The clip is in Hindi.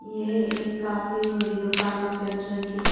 ये एक काफी बड़ी दुकान है संशन की।